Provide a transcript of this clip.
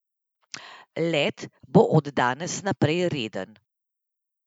Let bo od danes naprej reden.